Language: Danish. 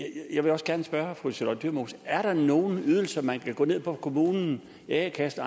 jeg vil også gerne spørge fru charlotte dyremose er der nogen ydelser man kan gå til kommunen i a kassen